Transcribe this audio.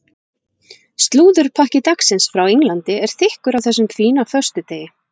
Slúðurpakki dagsins frá Englandi er þykkur á þessum fína föstudegi.